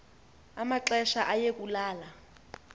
amaxesha aye kulala